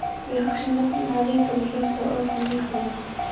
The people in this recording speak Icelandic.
Við hugsum nefnilega líka með hjartanu og öllum líkamanum.